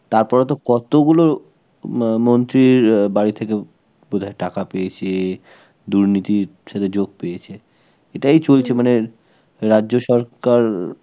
তারপরে তো কতগুলো মা~ মন্ত্রীর আঁ বাড়ি থেকে বোধহয় টাকা পেয়েছে, দুর্নীতির সাথে যোগ পেয়েছে. এটাই চলছে মানে, রাজ্য সরকার